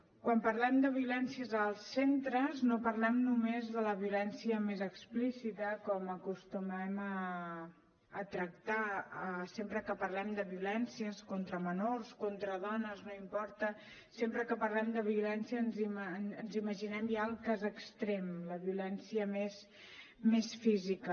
quan parlem de violències als centres no parlem només de la violència més explícita com acostumem a tractar sempre que parlem de violències contra menors contra dones no importa sempre que parlem de violència ens imaginem ja el cas extrem la violència més física